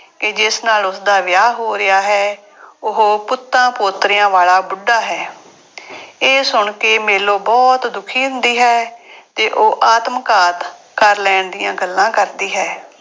ਕਿ ਜਿਸ ਨਾਲ ਉਸਦਾ ਵਿਆਹ ਹੋ ਰਿਹਾ ਹੈ, ਉਹ ਪੁੱਤਾਂ ਪੋਤਰਿਆਂ ਵਾਲਾ ਬੁੱਢਾ ਹੈ। ਇਹ ਸੁਣ ਕੇ ਮੇਲੋ ਬਹੁਤ ਦੁਖੀ ਹੁੰਦੀ ਹੈ ਤੇ ਉਹ ਆਤਮਘਾਤ ਕਰ ਲੈਣ ਦੀਆਂ ਗੱਲਾਂ ਕਰਦੀ ਹੈ।